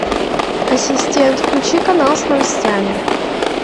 ассистент включи канал с новостями